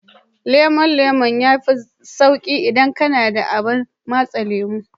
Lemon lemon zaƙi yafi sauƙin yi idan kana da abar matse lemo.